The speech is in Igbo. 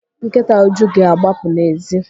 Nkịta Uju ga-agbapụ n'èzí.